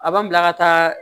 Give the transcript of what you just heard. A b'an bila ka taa